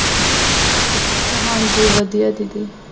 ਅਤੇ ਹਾਂਜੀ ਵਧੀਆ ਦੀਦੀ